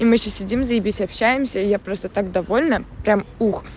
мы сидим заебись общаемся я просто так довольна прям ух